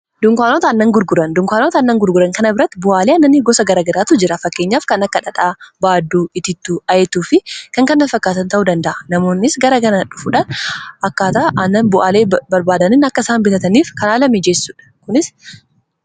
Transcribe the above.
Dunkaanota aannan gurguran kana birratti bu'aalee annanni gosa garagaraatu jira fakkeenyaaf kan akka dhadhaa, baadduu, itittuu, ayetuu fi kan kana fakkaatan ta'uu danda'a. Namoonis gara gara dhufuudhaan akkaata ana bu'aalee barbaadanin akka isaan bitataniif kan miijeessuudha.